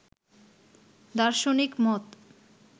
দার্শনিক মত